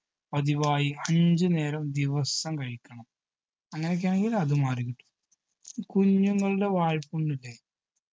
പതിവായി അഞ്ചു നേരം ദിവസം കഴിക്കണം അങ്ങനൊക്കെയാണെങ്കിൽ അതും മാറിക്കിട്ടും കുഞ്ഞുങ്ങളുടെ വായ്പ്പുണ്ണില്ലേ